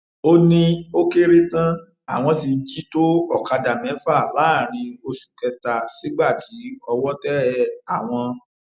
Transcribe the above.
ó ní ó kéré tán àwọn ti jí tó ọkadà mẹfà láàrin oṣù kẹta sígbà tí owó tẹ àwọn